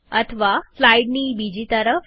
અથવા સ્લાઈડની બીજી તરફ